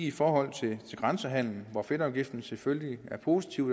i forhold til grænsehandel er fedtafgiften selvfølgelig positivt